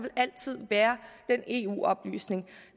altid vil være eu oplysning